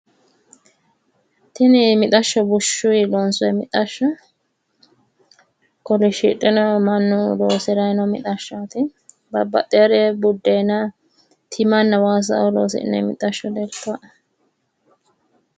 Tini mixashsho bushshuyi loonsoyi mixashsho kolishidhino mannu loosirayino mixashshooti. baxxewoore buddeeena timanna waasa loosi'nayi mixashsho leeltawoe.